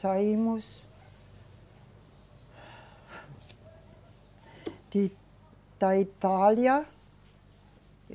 Saímos de, da Itália.